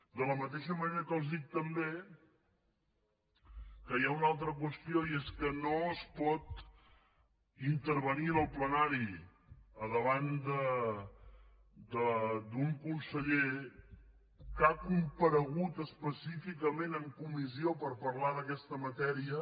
de la mateixa manera que els dic també que hi ha una altra qüestió i és que no es pot intervenir en el plenari davant d’un conseller que ha comparegut específicament en comissió per parlar d’aquesta matèria